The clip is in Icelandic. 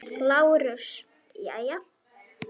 LÁRUS: Jæja.